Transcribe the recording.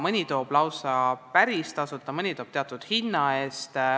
Mõni teeb lausa päris tasuta, mõni teeb teatud hinna eest.